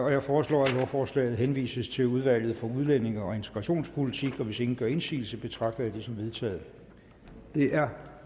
jeg foreslår at lovforslaget henvises til udvalget for udlændinge og integrationspolitik hvis ingen gør indsigelse betragter jeg det som vedtaget det er